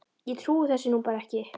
Ég trúi þessu nú bara ekki.